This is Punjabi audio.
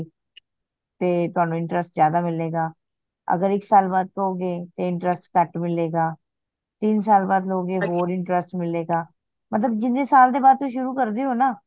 ਤੇ ਤਵਾਨੁ interest ਜ਼ਯਾਦਾ ਮਿਲੇਗਾ ਅਗਰ ਇੱਕ ਸਾਲ ਬਾਦ ਕਹੋ ਗੇ ਤੇ interest ਕੱਟ ਮਿਲੇਗਾ ਤਿੰਨ ਸਾਲ ਬਾਦ ਲੋ ਗੇ ਹੋਰ interest ਮਿਲੇਗਾ ਮਤਲਬ ਜਿਹਨੇ ਸਾਲ ਦੇ ਬਾਦ ਤੇ ਸ਼ੁਰੂ ਕਰਦੇ ਹੋ ਨਾ